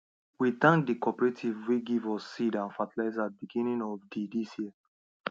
we thank the cooperative way give us seed and fertilizer beginning of the this year